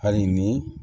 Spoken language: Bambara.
Hali ni